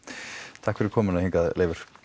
takk fyrir komuna hingað Leifur